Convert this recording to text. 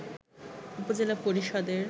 উপজেলা পরিষদের